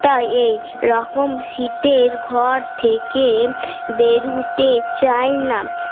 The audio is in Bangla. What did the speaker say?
তাই এই রকম শীতের ঘর থেকে বেরুতে চায় না